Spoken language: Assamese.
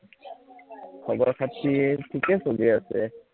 খবৰ খাতি ঠিকে চলি আছে